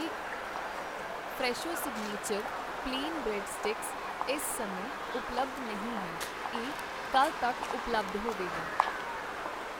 Fresho signature plain bread sticks ਇਸ ਸਮੇਂ ਉਪਲੱਬਧ ਨਹੀਂ ਹੈ, ਇਹ ਕੱਲ੍ਹ ਤੱਕ ਉਪਲੱਬਧ ਹੋਵੇਗਾ I